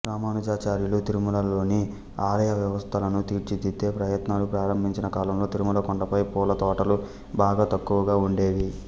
రామానుజాచార్యులు తిరుమలలోని ఆలయ వ్యవస్థలను తీర్చిదిద్దే ప్రయత్నాలు ప్రారంభించిన కాలంలో తిరుమల కొండపై పూల తోటలు బాగా తక్కువగా ఉండేవి